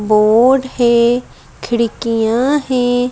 Board है खिड़कियां हैं।